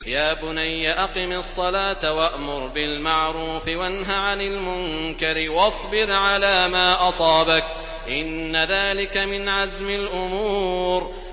يَا بُنَيَّ أَقِمِ الصَّلَاةَ وَأْمُرْ بِالْمَعْرُوفِ وَانْهَ عَنِ الْمُنكَرِ وَاصْبِرْ عَلَىٰ مَا أَصَابَكَ ۖ إِنَّ ذَٰلِكَ مِنْ عَزْمِ الْأُمُورِ